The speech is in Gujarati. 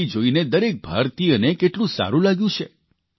તે જોઇને દરેક ભારતીયને કેટલું સારૂં લાગ્યું છે